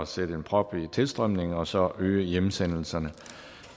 sætte en prop i tilstrømningen og så øge hjemsendelserne